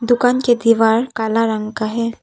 दुकान के दीवार काला रंग का है।